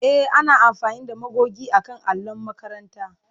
E, ana amfani da magogi akan allon makaranta.